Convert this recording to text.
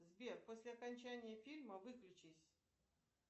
сбер после окончания фильма выключись